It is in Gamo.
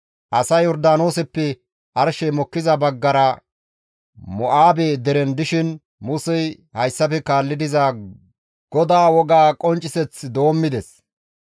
Asay Yordaanooseppe arshey mokkiza baggara Mo7aabe deren dishin Musey hayssafe kaalli diza GODAA woga qoncciseth doommides;